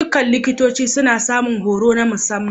Dukkan likitoci suna samun horo na musamman.